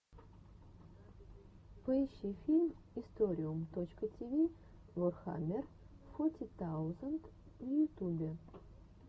поищи фильм историум точка тиви ворхаммер фоти таузенд в ютубе